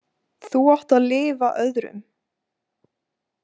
Þú átt að lifa öðrum.